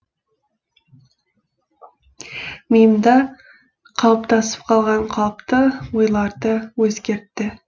миымда қалыптасып қалған қалыпты ойларды өзгертті